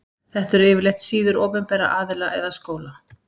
Þetta eru yfirleitt síður opinberra aðila eða skóla.